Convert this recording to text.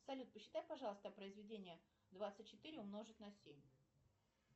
салют посчитай пожалуйста произведение двадцать четыре умножить на семь